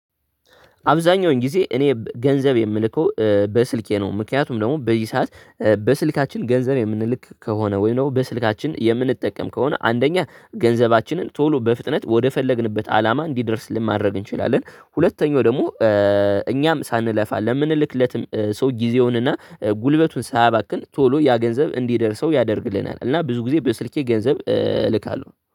አብዛኛውን ጊዜ እኔ ገንዘብ የምልከው በስልኬ ነው ምክንያቱም ደግሞ በዚህ ሰዓት በስልካችን ገንዘብ የምንልክ ከሆነ ወይም በስልካችን የምንጠቀም ከሆነ አንደኛ ገንዘባችንን ቶሎ በፍጥነት ወደፈለግንበት አላማ እንዲደርስልን ማድረግ እንችላለን ሁለተኛው ደግሞ እኛም ሳንለፋ ለምንልክለትም ሰው ጊዜውንና ጉልበቱን ሳያባክን ቶሎ ያ ገንዘብ እንዲደርሰው ያደርግልናል እና ብዙ ጊዜ በስልኬ ገንዘብ እልካለሁ።